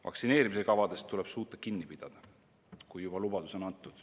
Vaktsineerimiskavadest tuleb suuta kinni pidada, kui juba lubadus on antud.